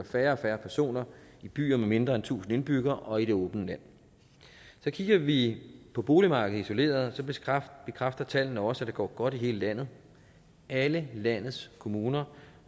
færre personer i byer med mindre end tusind indbyggere og i det åbne land kigger vi på boligmarkedet isoleret bekræfter tallene også at det går godt i hele landet alle landets kommuner